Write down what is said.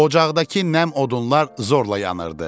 Ocaqdakı nəm odunlar zorla yanırdı.